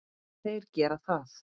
En þeir gera það.